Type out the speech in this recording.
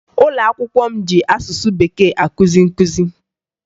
Ụlọakwụkwọ m ji asụsụ Bekee akụzi nkụzi